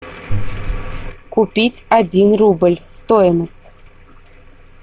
купить один рубль стоимость